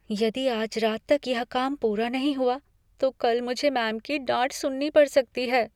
यदि आज रात तक यह काम पूरा नहीं हुआ, तो कल मुझे मैम की डांट सुननी पड़ सकती है।